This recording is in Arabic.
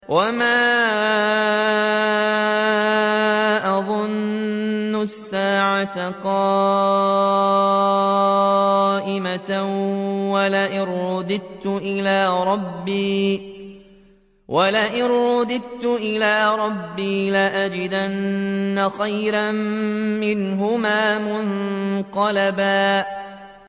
وَمَا أَظُنُّ السَّاعَةَ قَائِمَةً وَلَئِن رُّدِدتُّ إِلَىٰ رَبِّي لَأَجِدَنَّ خَيْرًا مِّنْهَا مُنقَلَبًا